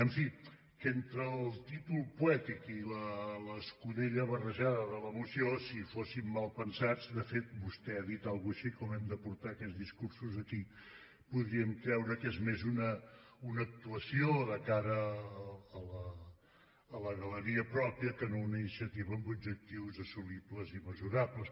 en fi que entre el títol poètic i l’escudella barrejada de la moció si fóssim malpensats de fet vostè ha dit alguna cosa així com hem de portar aquests discursos aquí podríem creure que és més una actuació de cara a la galeria pròpia que no una iniciativa amb objectius assolibles i mesurables